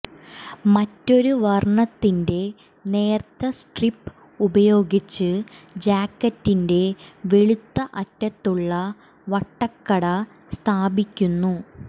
മറ്റൊരു വർണ്ണത്തിന്റെ നേർത്ത സ്ട്രിപ്പ് ഉപയോഗിച്ച് ജാക്കറ്റിന്റെ വെളുത്ത അറ്റത്തുള്ള വട്ടക്കട സ്ഥാപിക്കുന്നു